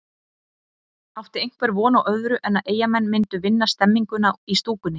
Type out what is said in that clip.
Átti einhver von á öðru en að Eyjamenn myndu vinna stemninguna í stúkunni?